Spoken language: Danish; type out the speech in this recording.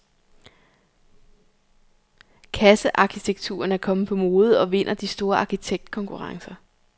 Kassearkitekturen er kommet på mode og vinder de store arkitektkonkurrencer.